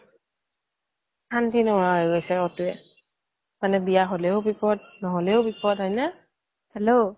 শান্তি নুহুৱা হয় গৈছে কতোয়ে মানে বিয়া হ্'লেও বিপ্দ নহ্'লেও বিপ্দ হয় নে hello